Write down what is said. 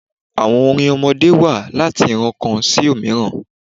Àwọn orin ọmọdé wa láti ìran kan sí òmíràn